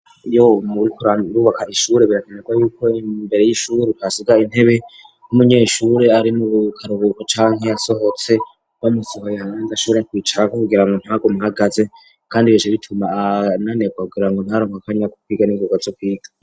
Iyo muriko murubaka ishuri birakenerwa yuko imbere y'ishuri hasigara intebe, iyo umunyeshuri ari mu karuhuko canke yasohotse, bamusohoye aronke aho ashobora kwicara kugira ngo ntagume ahagaze, kandi bica bituma ananigwa kugira ngo ntaronke akanya ko kwiga ningoga ngo aze kwiga.